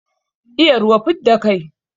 Iya ruwa, fidda kai.